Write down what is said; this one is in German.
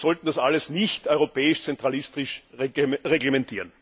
Aber wir sollten das alles nicht europäisch zentralistisch reglementieren.